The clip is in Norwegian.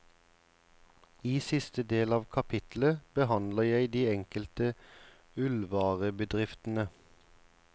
I siste del av kapittelet behandler jeg de enkelte ullvarebedriftene.